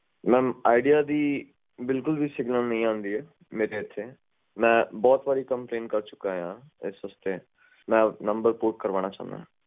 mam ਵਿਚਾਰ ਦੀ ਬਿਲਕੁਲ signal ਵੀ ਨਹੀਂ ਆਉਂਦੀ ਹੈ ਮੇਰੇ ਏਥੇ ਅਤੇ ਮੈਂ ਬਹੁਤ ਵਾਰ complaint ਕਰ ਚੁੱਕਾ ਹਾਂ ਇਸ ਲਈ ਮੈਂ ਆਪਣਾ ਨੰਬਰ port ਕਰਵਾਉਣਾ ਚਾਹੁੰਦਾ ਹਾਂ